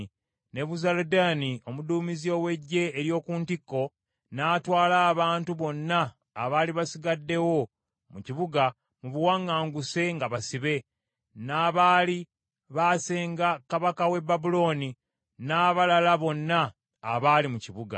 Nebuzaladaani omuduumizi ow’eggye ery’oku ntikko n’atwala abantu bonna abaali basigaddewo mu kibuga, mu buwaŋŋanguse nga basibe, n’abaali baasenga kabaka w’e Babulooni, n’abalala bonna abaali mu kibuga.